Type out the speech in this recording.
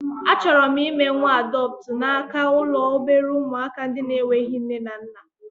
A chọrọ m ime nwa adọptu n'aka ụlọ obere ụmụaka ndị na-enweghị nne na nna